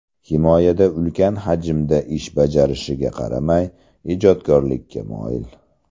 Himoyada ulkan hajmda ish bajarishiga qaramay, ijodkorlikka moyil.